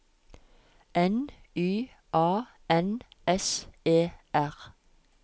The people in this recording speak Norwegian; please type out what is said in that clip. N Y A N S E R